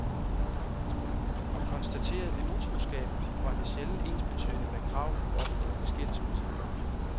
Og konstaterede vi utroskab, var det sjældent ensbetydende med krav om omgående skilsmisse.